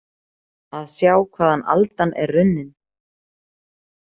Að sjá hvaðan aldan er runnin